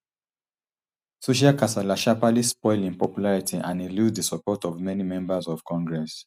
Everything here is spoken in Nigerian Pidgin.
social kasala sharparly spoil im popularity and e lose di support of many members of congress